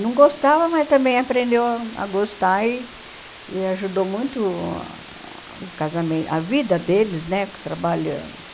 Não gostava, mas também aprendeu a a gostar e e ajudou muito o casamento, a vida deles, né, trabalhando.